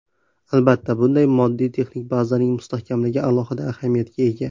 Albatta, bunda moddiy-texnik bazaning mustahkamligi alohida ahamiyatga ega.